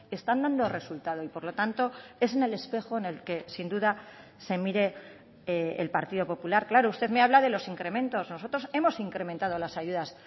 están dando resultado y por lo tanto es en el espejo en el que sin duda se mire el partido popular claro usted me habla de los incrementos nosotros hemos incrementado las ayudas